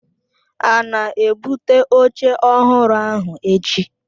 A na-ebụte oche ọhụrụ ahụ echi?